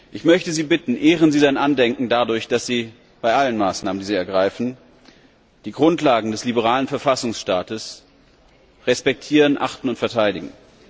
Ich möchte Sie bitten Ehren Sie sein Andenken dadurch, dass Sie bei allen Maßnahmen, die Sie ergreifen, die Grundlagen des liberalen Verfassungsstaates respektieren, achten und verteidigen.